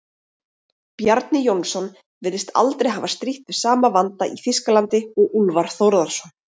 Bjarni Jónsson virðist aldrei hafa strítt við sama vanda í Þýskalandi og Úlfar Þórðarson.